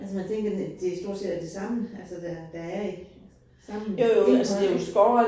Altså man tænker, det stort set er det samme altså der der er i samme indhold